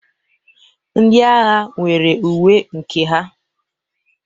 Ndị agha nwere uwe nke ha.